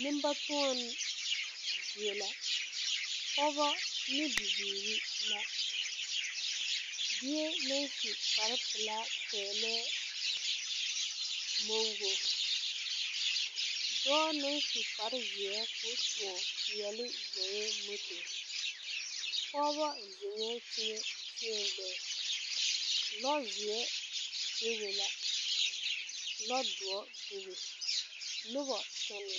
Neŋbatoɔnee a zeŋ sokoɔraa noɔreŋ a sɔrɔ a biŋ ba kõɔ ne ba gariwaa dɔɔ la gaa zɔŋ moto a waana.